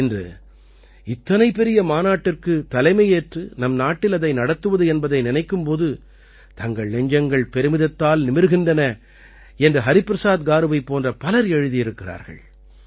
இன்று இத்தனை பெரிய மாநாட்டிற்குத் தலைமையேற்று நம் நாட்டில் அதை நடத்துவது என்பதை நினைக்கும் போது தங்கள் நெஞ்சங்கள் பெருமிதத்தால் நிமிர்கின்றன என்று ஹரிபிரசாத் காருவைப் போன்ற பலர் எழுதியிருக்கிறார்கள்